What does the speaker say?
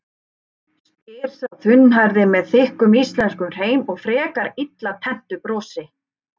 spyr sá þunnhærði með þykkum íslenskum hreim og frekar illa tenntu brosi.